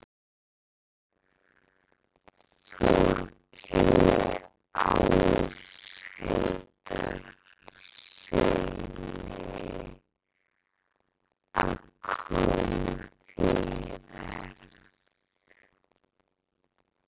Þórkeli Áshildarsyni, að koma því í verð.